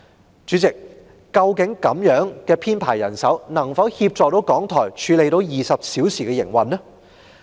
代理主席，這樣的人手編制究竟能否協助港台應付24小時的營運呢？